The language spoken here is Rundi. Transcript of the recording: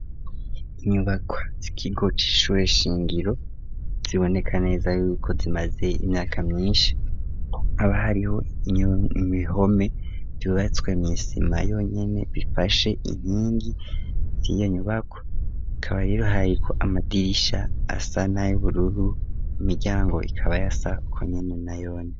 Inyubakwa z'ikigo c'ishure shingiro ziboneka neza yuko zimaze imyaka myinshi haba hariho ibihome vyubatswe mw'isima yonyene bifashe inkingi z'iyo nyubako hakaba rero hariko amadirisha asa n'ayubururu, imiryango ikaba yasa uko nyene nayone.